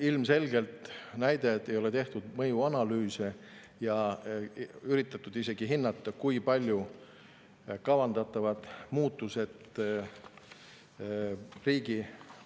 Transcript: Ilmselgelt see, kui ei ole tehtud mõjuanalüüse ega üritatud isegi hinnata, kui palju kavandatavad muutused riigi